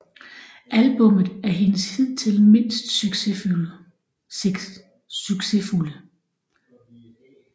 Albummet er hendes hidtil mindst succesfulde